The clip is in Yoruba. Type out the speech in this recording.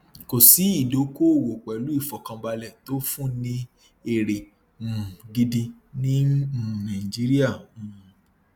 kò sí ìdókòòwò pẹlú ìfọkànbalẹ tó fún ní èrè um gidi ní um nàìjíríà um